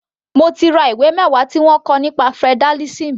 Mo ti ra ìwé mẹwa tí wọ́n kọ nípa federalism.